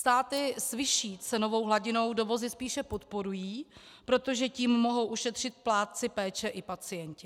Státy s vyšší cenovou hladinou dovozy spíše podporují, protože tím mohou ušetřit plátci péče i pacienti.